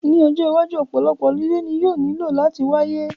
Ní ọjọ́ iwájú, ọ̀pọ̀lọpọ̀ holiday ni yóò nílò láti wáyé